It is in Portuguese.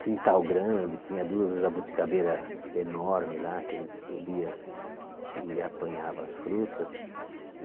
Quintal grande, tinha duas jabuticabeira enorme lá, que a gente subia e apanhava as frutas.